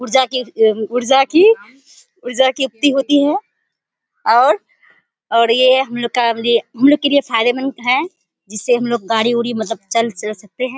ऊर्जा की ऊर्जा की ऊर्जा की युक्ति होती है और और ये हम लोग का लिए हम लोग के लिए फायदेमंद है जिससे हम लोग गाड़ी उडी मतलब चला सकते हैं।